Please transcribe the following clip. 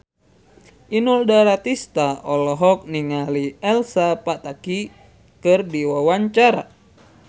Inul Daratista olohok ningali Elsa Pataky keur diwawancara